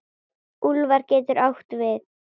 Úlfar getur átt við